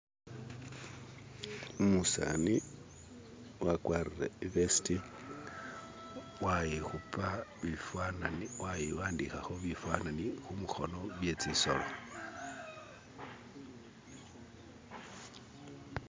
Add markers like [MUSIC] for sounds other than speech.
"[SKIP]" umusani wakwarire ivesiti "[SKIP]" waikhupa bifananyi waiwandikhakho bifananyi kumukhono byetsisolo "[SKIP]".